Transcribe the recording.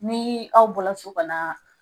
Ni aw bɔla so ka na